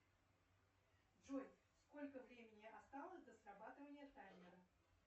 джой сколько времени осталось до срабатывания таймера